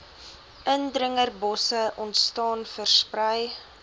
indringerbosse ontstaan versprei